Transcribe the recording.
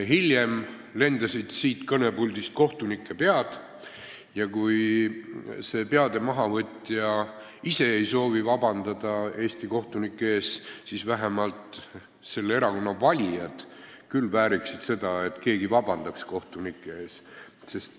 Hiljem lendasid siit kõnepuldist kohtunike pead ja kui see peade mahavõtja ise ei soovi vabandada Eesti kohtunike ees, siis vähemalt selle erakonna valijad võiksid küll olla nii väärikad, et keegi vabandaks kohtunike ees.